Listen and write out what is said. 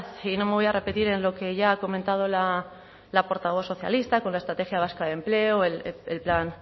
y no me voy a repetir en lo que ya ha comentado la portavoz socialista con la estrategia vasca de empleo el plan